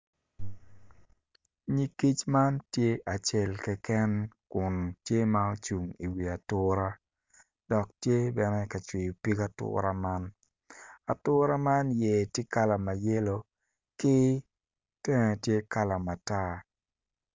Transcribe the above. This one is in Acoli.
Nyig kic man tye acel keken kun tye ma ocung i wi ature dok tye ka cwiyo pig ature man ature men iye tye kala mayelo ki tenge tye kala matar.